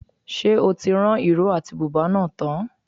Ṣé o ti rán ìró àti bùbá náà tán?